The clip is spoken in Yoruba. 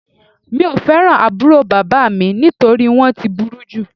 Mi ò fẹ́ràn àbúrò bàbá mi nítorí wọ́n ti burú jù